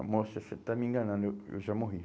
oh moça disse, você está me enganando, eu eu já morri.